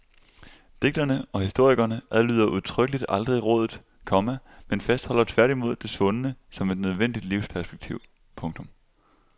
Digterne og historikerne adlyder udtrykkeligt aldrig rådet, komma men fastholder tværtimod det svundne som et nødvendigt livsperspektiv. punktum